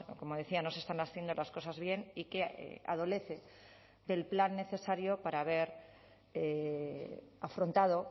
como decía no se están haciendo las cosas bien y que adolece del plan necesario para haber afrontado